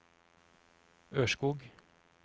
Ørskog